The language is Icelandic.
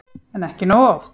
En ekki nógu oft.